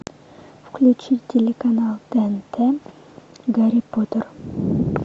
включи телеканал тнт гарри поттер